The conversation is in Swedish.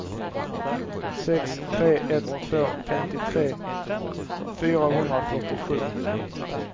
sex tre ett två femtiotre fyrahundrafyrtiosju